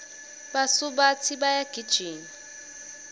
basubatsi bayagijima